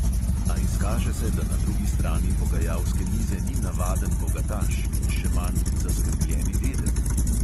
A izkaže se, da na drugi strani pogajalske mize ni navaden bogataš in še manj zaskrbljeni dedek.